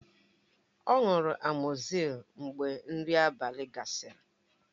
Ọ ṅụrụ amọzisillin mgbe nri abalị gasịrị